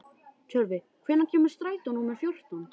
Tjörvi, hvenær kemur strætó númer fjórtán?